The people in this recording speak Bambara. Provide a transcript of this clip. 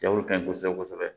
Jago ka ɲi kosɛbɛ kosɛbɛ